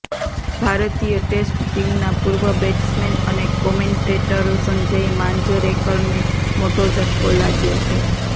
ભારતીય ટેસ્ટ ટીમના પૂર્વ બેટ્સમેન અને કોમેન્ટેટર સંજય માંજરેકરને મોટો ઝટકો લાગ્યો છે